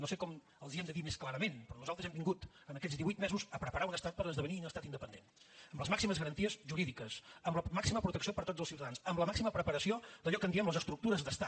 no sé com els ho hem de dir més clarament però nosaltres hem vingut en aquests divuit mesos a preparar un estat per esdevenir un estat independent amb les màximes garanties jurídiques amb la màxima protecció per a tots els ciutadans amb la màxima preparació d’allò que en diem les estructures d’estat